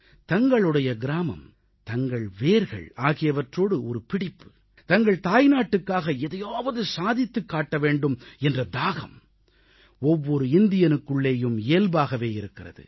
தங்களுடைய கிராமம் தங்கள் வேர்கள் ஆகியவற்றோடு ஒரு பிடிப்பு தங்கள் தாய்நாட்டுக்காக எதையாவது சாதித்துக் காட்ட வேண்டும் என்ற தாகம் ஒவ்வொரு இந்தியனுக்குள்ளேயும் இயல்பாகவே இருக்கிறது